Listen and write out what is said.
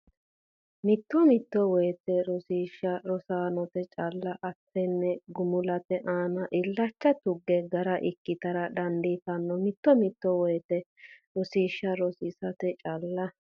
Mito mito woyte rosiishsha rosaanote calla aatenni gumulate aana illacha tuga gara ikkitara dandiitanno Mito mito woyte rosiishsha rosaanote calla.